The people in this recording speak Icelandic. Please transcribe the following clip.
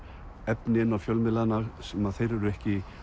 efni inn á fjölmiðlana sem þeir eru ekki